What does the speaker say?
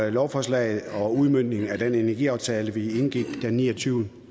et lovforslag og en udmøntning af den energiaftale vi indgik den niogtyvende